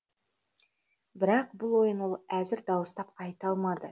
бірақ бұл ойын ол әзір дауыстап айта алмады